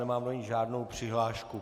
Nemám do ní žádnou přihlášku.